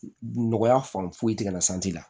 Nɔgɔya fan foyi tɛ ka na la